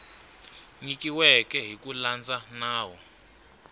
nyikiweke hi ku landza nawu